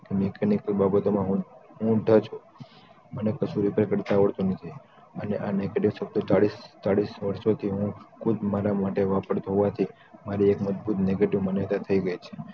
કે machanic ની બાબતો માં હું ટચ મને કશું repair કરતાં આવડતું નથી અને આ negative શબ્દો ચાલીસ વર્ષોથી હું ખુદ મારા મોઢે વાપરતો હોવાથી મારી એક મજબૂત negative સોચ થઈ ગઈ છે